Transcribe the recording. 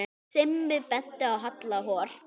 Simmi benti á Halla hor.